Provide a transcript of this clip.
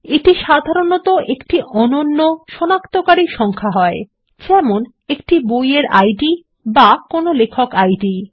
এটি সাধারনতঃ একটি অনন্য সনাক্তকারী সংখ্যা হয় যেমন একটি বই এর ইদ অথবা কোনো লেখক আইডি